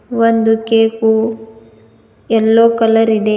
ಒಂದು cake yellow colour ಇದೆ.